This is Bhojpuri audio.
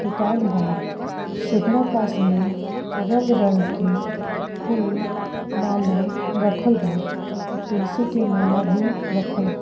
दोकान बा सेकरा पास में रंग रंग के फूल माला रखल बा आ तुलसी के माला भी रखल बा।